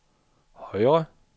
højre